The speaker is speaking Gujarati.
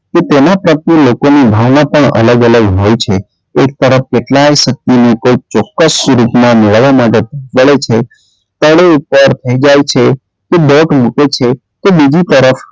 કે તેનાં પ્રત્યે લોકોની ભાવના પણ અલગ -અલગ હોય છે એક તરફ કેટલાય શક્તિ ચોક્કસ સ્વરૂપ મેળવવામાં માટે તે દોટ મુકે છે તે બીજી તરફ,